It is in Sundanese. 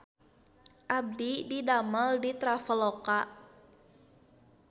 Abdi didamel di Traveloka